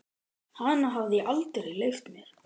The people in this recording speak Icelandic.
Hana hafði ég aldrei leyft mér.